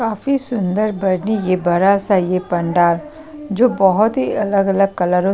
काफी सुंदर बनी ये बरा सा ये पंडाल जो बहोत ही अलग-अलग कलरो --